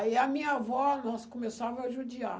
Aí a minha avó, nós começava a judiar.